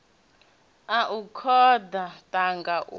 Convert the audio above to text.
a u koḓa thanga hu